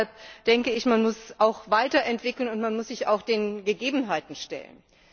Deshalb muss man auch weiterentwickeln, und man muss sich auch den Gegebenheiten stellen.